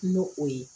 N'o o ye